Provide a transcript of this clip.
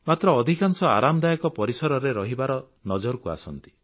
ମାତ୍ର ଅଧିକାଂଶ ଆରାମଦାୟକ ପରିସରରେ ରହିବାର ନଜରକୁ ଆସନ୍ତି